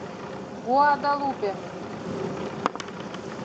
гуадалупе